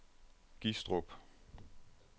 Gistrup